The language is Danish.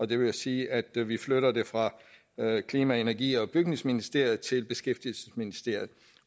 det vil sige at vi vi flytter det fra klima energi og bygningsministeriet til beskæftigelsesministeriet